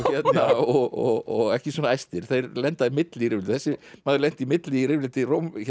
og ekki svona æstir þeir lenda í milli í rifrildi þessi maður lenti í milli í rifrildi